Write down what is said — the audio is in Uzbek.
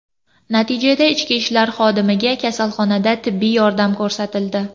Natijada ichki ishlar xodimiga kasalxonada tibbiy yordam ko‘rsatildi.